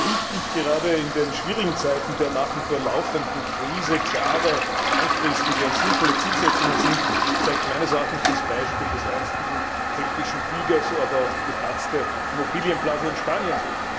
Wie wichtig gerade in den schwierigen Zeiten der nach wie vor laufenden Krise klare, langfristige und sinnvolle Zielsetzungen sind, zeigt meines Erachtens das Beispiel des einstigen keltischen Tigers, aber auch die geplatzte Immobilienblase in Spanien.